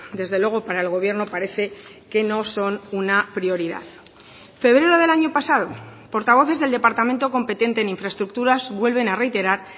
desde luego para el gobierno parece que no son una prioridad febrero del año pasado portavoces del departamento competente en infraestructuras vuelven a reiterar